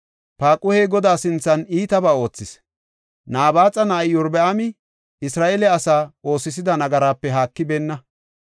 Paaquhey Godaa sinthan iitabaa oothis; Nabaaxa na7ay Iyorbaami Isra7eele asaa oosisida nagaraape haakibeenna.